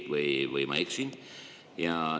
Või ma eksin?